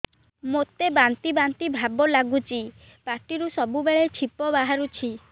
ମୋତେ ବାନ୍ତି ବାନ୍ତି ଭାବ ଲାଗୁଚି ପାଟିରୁ ସବୁ ବେଳେ ଛିପ ବାହାରୁଛି